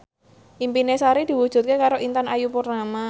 impine Sari diwujudke karo Intan Ayu Purnama